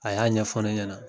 A y'a ɲɛfɔ ne ɲɛna .